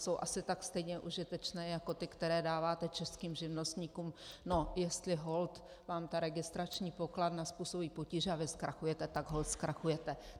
Jsou asi tak stejně užitečné jako ty, které dáváte českým živnostníkům: No, jestli holt vám ta registrační pokladna způsobí potíže a vy zkrachujete, tak holt zkrachujete.